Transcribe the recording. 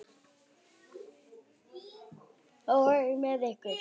Og með ykkur!